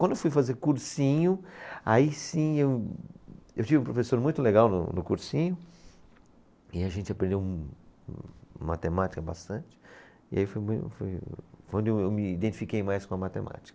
Quando eu fui fazer cursinho, aí sim eu, eu tive um professor muito legal no, no cursinho, e a gente aprendeu matemática bastante, e aí foi, foi onde eu, eu me identifiquei mais com a matemática.